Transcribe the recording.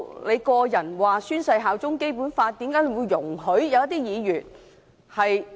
你個人既曾宣誓效忠《基本法》，為何容許某些議員......